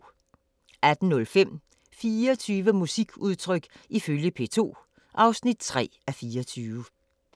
18:05: 24 musikudtryk ifølge P2 (3:24)